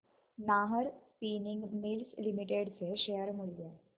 Nahar spinning mills limited चे share मूल्य